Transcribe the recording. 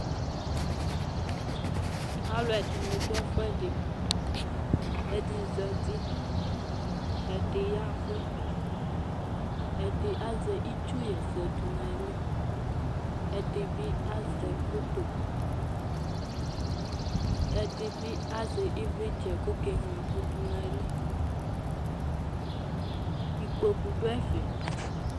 Alʋɛdɩnɩ dʋ ɛfʋɛdɩ Ɛdɩ zati, ɛdɩ ya ɛvʋ, ɛdɩ azɛ itsuɣa ɛsɛ dʋ nʋ ayili Ɛdɩ bɩ azɛ foto, ɛdɩ bɩ azɛ ɩvlɩtsɛ kʋ ɔkeŋlo ɛkʋ dʋ nʋ ayili Ikpoku dʋ ɛfɛ